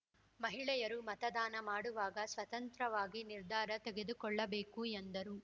ಮಹಿಳೆಯರು ಮತದಾನ ಮಾಡುವಾಗ ಸ್ವತಂತ್ರವಾಗಿ ನಿರ್ಧಾರ ತೆಗೆದುಕೊಳ್ಳಬೇಕು ಎಂದರು